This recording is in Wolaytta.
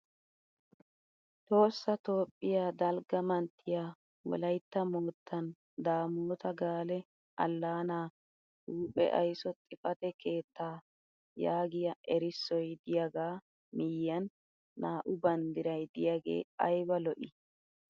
Tohossa Toophphiya dalgga mantyiya wolaytta moottan Daamoota gaale allaanaa huuphe ayiso xifate keettaa yaagiya errissoy diyagaa miyyiyan naa"u bandiray diyagee ayiba lo'i!